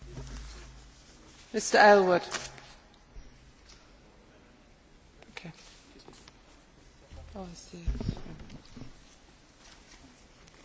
Tout d'abord j'aimerais féliciter la Commission pour la réussite qu'a connue sa consultation publique sur la politique agricole commune post 2013,